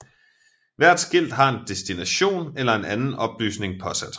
Hvert skilt har en destination eller en anden oplysning påsat